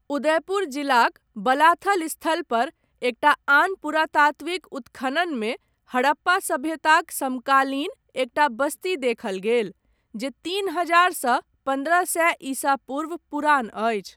उदयपुर जिलाक बलाथल स्थलपर, एकटा आन पुरातात्त्विक उत्खननमे, हड़प्पा सभ्यताक समकालीन, एकटा बस्ती देखल गेल, जे तीन हजार सँ पन्द्रह सए ईसा पूर्व पुरान अछि।